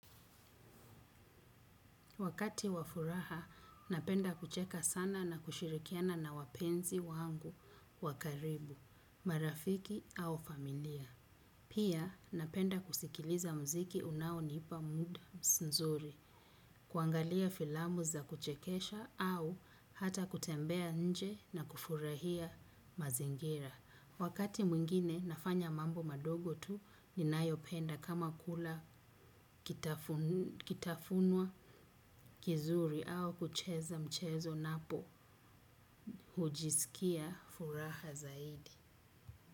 Wakati wa furaha, napenda kucheka sana na kushirikiana na wapenzi wangu wa karibu, marafiki au familia. Pia napenda kusikiliza muziki unaonipa moods nzuri, kuangalia filamu za kuchekesha, au hata kutembea nje, na kufurahia mazingira. Wakati mwingine nafanya mambo madogo tu ninayopenda kama kula kitafunwa kizuri au kucheza mchezo napo. Hujisikia furaha zaidi.